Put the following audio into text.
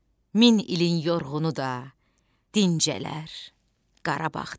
Min ilin yorğunu da dincələr Qarabağda.